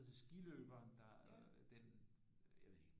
Hed skiløberen der den jeg ved ikke